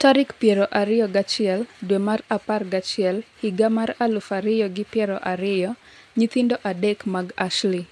tarik piero ariyo gi achiel dwe mar apar gi achiel higa mar aluf ariyo gi piero ariyo. Nyithindo adek mag Ashley.